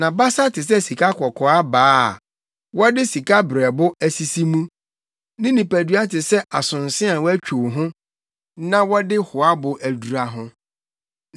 Nʼabasa te sɛ sikakɔkɔɔ abaa a wɔde sikabereɛbo asisi mu. Ne nipadua te sɛ asonse a wɔatwiw ho na wɔde hoabo adura ho.